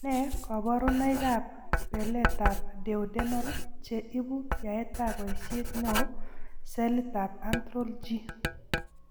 Nee kabarunoikab beletab Duodenal che ibu yaetab boisiet neo celitab antral G?